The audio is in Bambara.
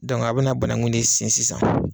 a bɛ banagun de sen sisan